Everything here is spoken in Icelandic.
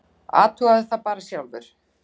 Athugaðu það bara sjálfur.